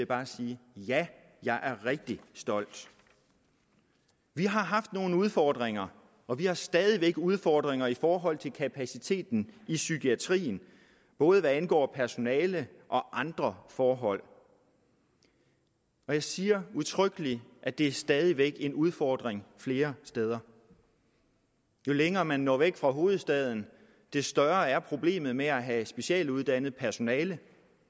bare sige ja jeg er rigtig stolt vi har haft nogle udfordringer og vi har stadig væk udfordringer i forhold til kapaciteten i psykiatrien både hvad angår personale og andre forhold og jeg siger udtrykkeligt at det stadig væk er en udfordring flere steder jo længere man når væk fra hovedstaden jo større er problemet med at have specialuddannet personale